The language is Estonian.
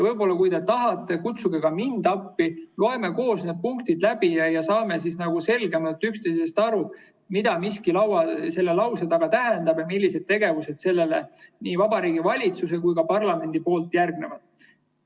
Kui te tahate, kutsuge ka mind appi, loeme koos need punktid läbi ja saame selgemalt üksteisest aru, mida miski selle lause taga tähendab ja millised tegevused sellele nii Vabariigi Valitsuse kui ka parlamendi poolt järgnevad.